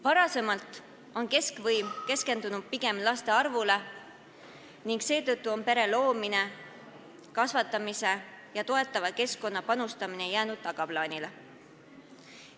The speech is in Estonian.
Varem keskendus keskvõim pigem laste arvule ning seetõttu on pere loomist ja laste kasvatamist toetavale keskkonnale panustamine jäänud tagaplaanile.